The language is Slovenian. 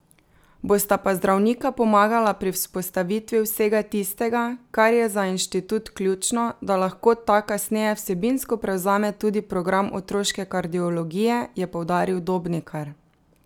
Bosta pa zdravnika pomagala pri vzpostavitvi vsega tistega, kar je za inštitut ključno, da lahko ta kasneje vsebinsko prevzame tudi program otroške kardiologije, je poudaril Dobnikar.